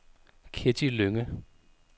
Ketty Lynge